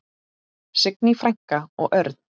Signý frænka og Örn.